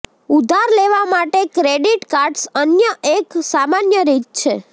ઉધાર લેવા માટે ક્રેડિટ કાર્ડ્સ અન્ય એક સામાન્ય રીત છે